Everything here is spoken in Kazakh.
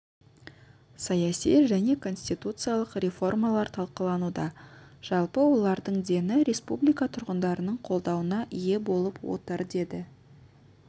саяси және конституциялық реформалар талқылануда жалпы олардың дені республика тұрғындарының қолдауына ие болып отыр деді